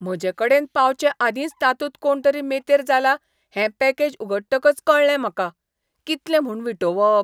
म्हजेकडेन पावचेआदींच तातूंत कोणतरी मेतेर जाला हें पॅकेज उगडटकच कळ्ळें म्हाका. कितलें म्हूण विटोवप!